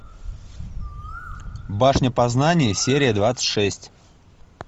башня познания серия двадцать шесть